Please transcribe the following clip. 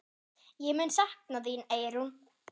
Ég mun sakna þín, Eyrún.